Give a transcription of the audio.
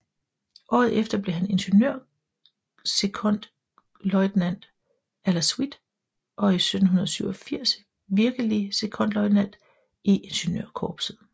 Året efter blev han ingeniørsekondløjtnant à la suite og i 1787 virkelig sekondløjtnant i Ingeniørkorpset